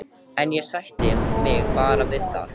En ég sætti mig bara við það.